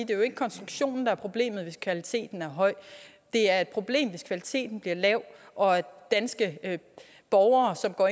jo ikke konstruktionen der er problemet hvis kvaliteten er høj det er et problem hvis kvaliteten bliver lav og danske borgere som går